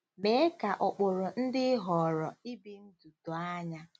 Mee ka ụkpụrụ ndị ị họọrọ ibi ndụ doo anya.